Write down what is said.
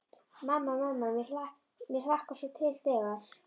Mamma, mamma mér hlakkar svo til þegar.